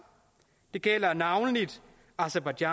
det gælder navnlig aserbajdsjan